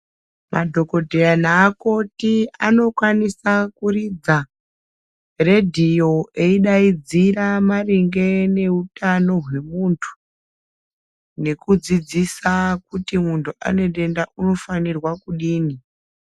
Madhokodheya neakoti anokwanisa kuridza redhiyo eidaidzira maringe neutano hwemuntu nekudzidzisa kuti muntu ane denda unofana kudini.